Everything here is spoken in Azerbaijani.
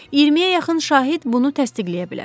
İyirmiyə yaxın şahid bunu təsdiqləyə bilər.